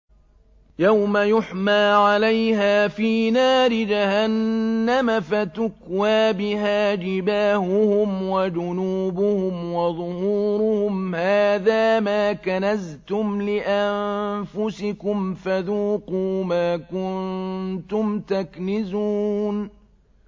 يَوْمَ يُحْمَىٰ عَلَيْهَا فِي نَارِ جَهَنَّمَ فَتُكْوَىٰ بِهَا جِبَاهُهُمْ وَجُنُوبُهُمْ وَظُهُورُهُمْ ۖ هَٰذَا مَا كَنَزْتُمْ لِأَنفُسِكُمْ فَذُوقُوا مَا كُنتُمْ تَكْنِزُونَ